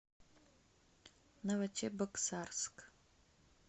новочебоксарск